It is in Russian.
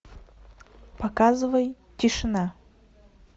показывай тишина